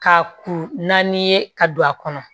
Ka kuru naani ye ka don a kɔnɔ